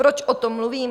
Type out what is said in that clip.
Proč o tom mluvím?